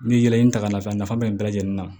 N'i ye nin ta k'a lajɛ a nafa bɛ bɛɛ lajɛlen na